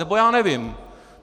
Nebo já nevím!